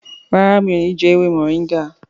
ràrá mi'o ní jé ewé Moringa.